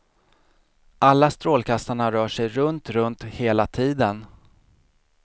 Alla strålkastarna rör sig runt runt hela tiden.